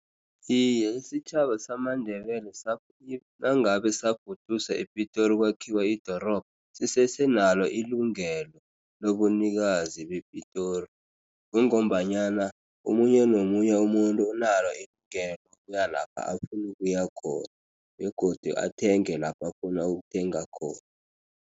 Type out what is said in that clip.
Iye, isitjhaba samaNdebele nangabe safuduswa ePitori kwakhiwa idorobha, sisese nalo ilungelo lobunikazi bePitori. Kungombanyana omunye nomunye umuntu unalo lokuya lapha afuna ukuya khona begodu, athenge lapha afuna ukuthenga khona.